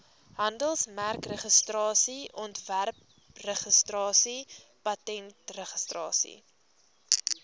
handelsmerkregistrasie ontwerpregistrasie patentregistrasie